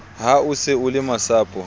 ha o se o lemasapo